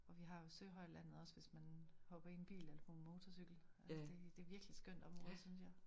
Og vi har jo Søhøjlandet også hvis man hopper i en bil eller en på motorcykel. Det det virelig skøt område synes jeg